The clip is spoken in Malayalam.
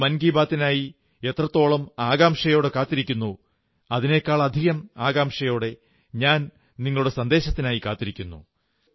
നിങ്ങൾ മൻ കീ ബാത്തിനായി എത്രത്തോളം ആകാംക്ഷയോടെ കാത്തിരിക്കുന്നോ അതിനെക്കാളധികം ആകാംക്ഷയോടെ ഞാൻ നിങ്ങളുടെ സന്ദേശത്തിനായി കാത്തിരിക്കുന്നു